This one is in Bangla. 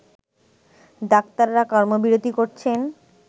ডাক্তাররা কর্মবিরতি করছেন